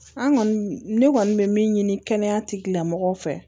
An kɔni ne kɔni bɛ min ɲini kɛnɛyatigilamɔgɔw fɛ